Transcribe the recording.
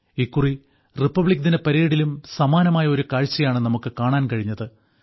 ഇക്കുറി റിപ്പബ്ലിക്ദിനപരേഡിലും സമാനമായ ഒരു കാഴ്ചയാണ് നമുക്ക് കാണാൻ കഴിഞ്ഞത്